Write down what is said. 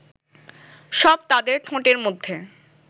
সব তাদের ঠোঁটের মধ্যে